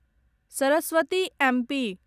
Saraswati MP